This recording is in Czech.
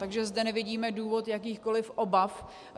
Takže zde nevidíme důvod jakýchkoliv obav.